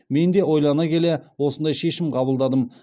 мен де ойлана келе осындай шешім қабылдадым